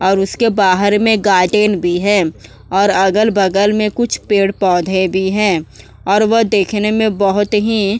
और उसके बाहर में गार्डन भी है और अगल-बगल में कुछ पेड़ पौधे भी हैं और वह देखने में बहुत ही --